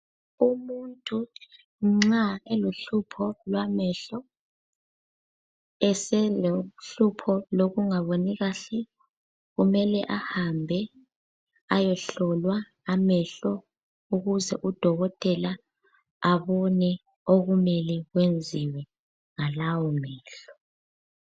Umuntu nxa elohlupho lwamehlo eselohlupho lokungaboni kahle, kumele ahambe ayehlolwa amehlo ukuze udokotela abone okumele kwenziwe ngalawomehlo.